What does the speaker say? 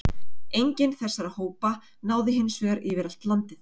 enginn þessara hópa náði hins vegar yfir allt landið